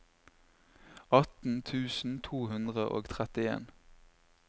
atten tusen to hundre og trettien